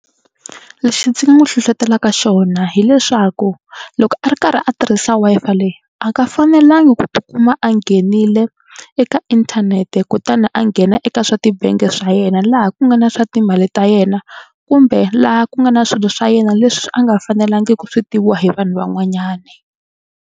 Lexi ndzi n'wi hlohlotelaka xona hileswaku loko a ri karhi a tirhisa Wi-Fi leyi a nga fanelangi ku tikuma a nghenile eka inthanete kutani a nghena eka swa tibangi swa yena laha ku nga na swa timali ta yena kumbe laha ku nga na swilo swa yena leswi a nga fanelangi ku swi tiviwa hi vanhu van'wanyani.